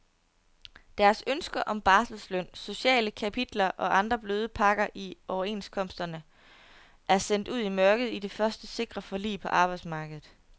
Deres ønsker om barselsløn, sociale kapitler og andre bløde pakker i overenskomsterne er sendt ud i mørket i det første sikre forlig på arbejdsmarkedet.